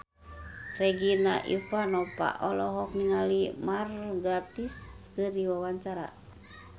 Regina Ivanova olohok ningali Mark Gatiss keur diwawancara